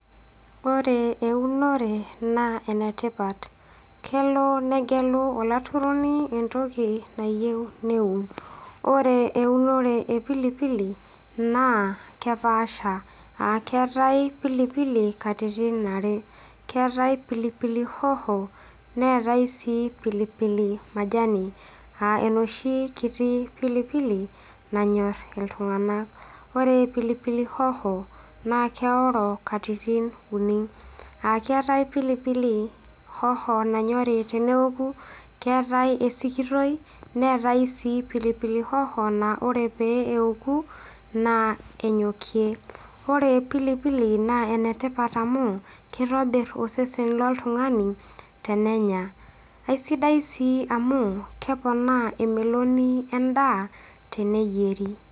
Ore eunore naa enetipat , kelo negelu olaturoni entoki nayieu neun , ore eunore epilipili naa kepaasha aa keetae pilipili katitin are, keetae pilipili hoho neetae sii pilipili majani aa enoshi kiti pilipili nanyor iltungank, . Ore pilipili hoho naa keoro katitin uni aa keetae pilipili nanyori teneoku keetae esikitoi , neetae sii pilpili hoho naa ore pee eoku naa enyokie . Ore pilipilii naa enetipat amu kitobir osesen loltungani tenenya, aisidai sii tenenya amu keponaa emeloni endaa teneyieri.